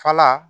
Fala